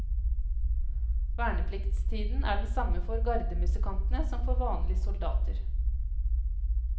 Vernepliktstiden er den samme for gardemusikantene som for vanlige soldater.